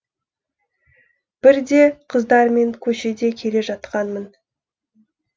бірде қыздармен көшеде келе жатқанмын